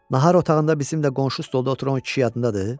Nahar otağında bizimlə qonşu stolda oturan kişi yadındadır?